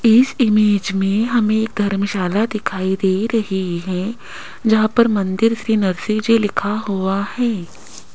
इस इमेज में हमें धर्मशाला दिखाई दे रहे है जहां पर मंदिर श्री नरशिव जी लिखा हुआ है।